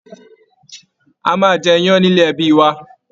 A máa jẹ iyán nílé ẹbí wa